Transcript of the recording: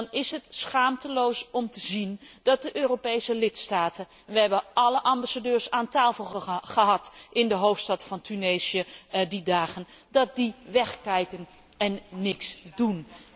Dan is het schaamteloos om te zien dat de Europese lidstaten we hebben alle ambassadeurs aan tafel gehad in de hoofdstad van Tunesië, die dagen dat die wegkijken en niets doen.